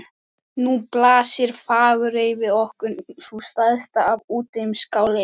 Nú blasir Fagurey við okkur, sú stærsta af úteyjum Skáleyja.